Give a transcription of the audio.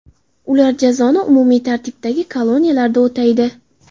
Ular jazoni umumiy tartibdagi koloniyalarda o‘taydi.